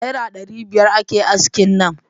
Naira dari biyar ake aski nan.